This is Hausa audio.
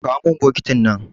Kawo min bokitin nan.